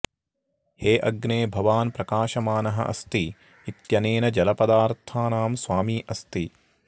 हे अग्ने भवान् प्रकाशमानः अस्ति इत्यनेन जलपदार्थानां स्वामी अस्ति